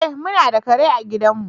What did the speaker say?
Eh, mu na da kare a gidan mu.